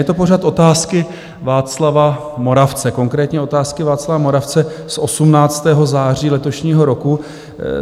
Je to pořad otázky Václava Moravce, konkrétně otázky Václava Moravce z 18. září letošního roku.